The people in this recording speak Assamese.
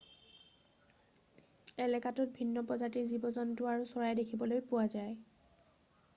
এলেকাটোত ভিন্ন প্ৰজাতিৰ জীৱ-জন্তু আৰু চৰাই দেখিবলৈ পোৱা যায়